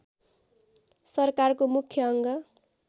सरकारको मुख्य अङ्ग